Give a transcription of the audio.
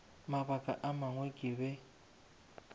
mabaka a mangwe ke be